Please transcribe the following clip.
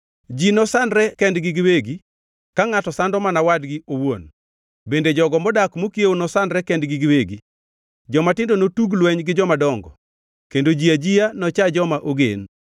Ji nosandre kendgi giwegi, ka ngʼato sando mana wadgi owuon bende jogo modak mokiewo nosandre kendgi giwegi. Jomatindo notug lweny gi jomadongo, kendo ji ajiya nocha joma ogen.